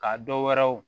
Ka dɔ wɛrɛw